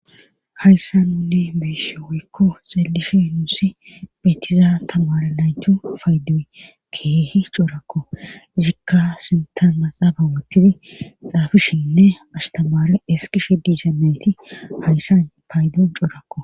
Hayssa nunne beeshe woykko xaelishe nuusi betizaan tamare naytu paydi keehi corakko zikka sintan maxaaba wottidi xaafishinne astamare eskishe dizanayti hayssan paydon coorakko.